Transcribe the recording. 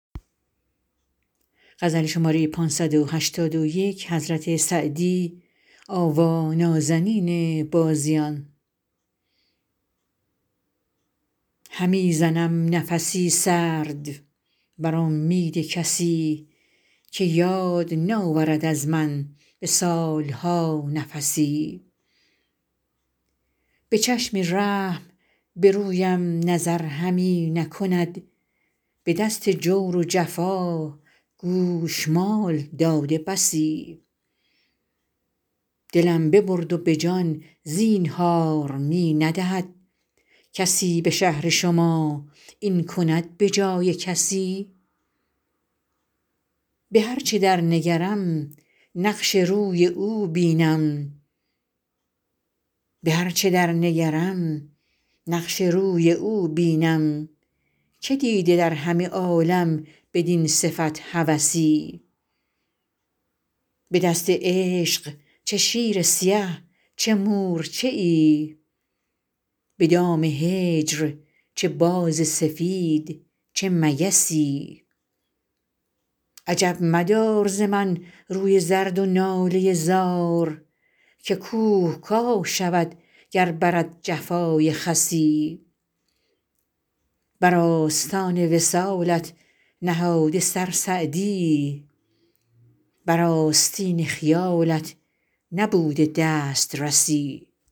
همی زنم نفس سرد بر امید کسی که یاد ناورد از من به سال ها نفسی به چشم رحم به رویم نظر همی نکند به دست جور و جفا گوشمال داده بسی دلم ببرد و به جان زینهار می ندهد کسی به شهر شما این کند به جای کسی به هر چه در نگرم نقش روی او بینم که دیده در همه عالم بدین صفت هوسی به دست عشق چه شیر سیه چه مورچه ای به دام هجر چه باز سفید چه مگسی عجب مدار ز من روی زرد و ناله زار که کوه کاه شود گر برد جفای خسی بر آستان وصالت نهاده سر سعدی بر آستین خیالت نبوده دسترسی